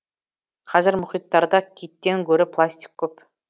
қазір мұхиттарда киттен гөрі пластик көп